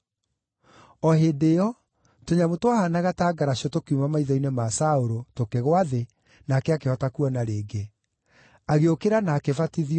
O hĩndĩ ĩyo, tũnyamũ twahaanaga ta ngaracũ tũkiuma maitho-inĩ ma Saũlũ, tũkĩgũa thĩ, nake akĩhota kuona rĩngĩ. Agĩũkĩra na akĩbatithio,